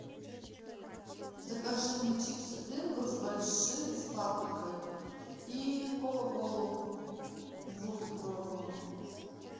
закажи мне чипсы принглс большие с паприкой и кока колу двухлитровую